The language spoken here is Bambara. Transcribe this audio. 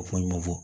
O fɔ ɲɔgɔn kɔ